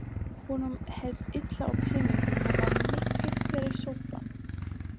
Honum hélst illa á peningum og var mikið fyrir sopann.